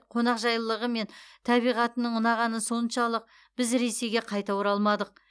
қонақжайлылығы мен табиғатының ұнағаны соншалық біз ресейге қайта оралмадық